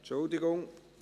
Entschuldigung.